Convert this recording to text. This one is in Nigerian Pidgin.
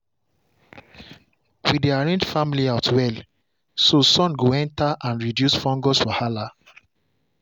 we dey arrange farm layout well so sun go enter and reduce fungus wahala.